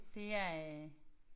Det er øh